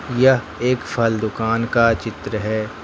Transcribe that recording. यह एक फल दुकान का चित्र है।